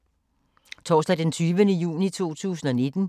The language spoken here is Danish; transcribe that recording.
Torsdag d. 20. juni 2019